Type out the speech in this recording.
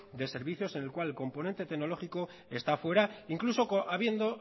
de servicios en el cual el componente tecnológico esta fuera incluso habiendo